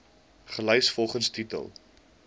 gelys volgens titel